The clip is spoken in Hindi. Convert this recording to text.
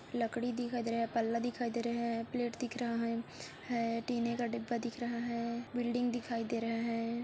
लकड़ी दिखाई दे रहा है पल्ला दिखाई दे रहा है प्लेट दिख रहा है टीने का डिब्बा दिख रहा है बिल्डिंग दिखाई दे रहा है।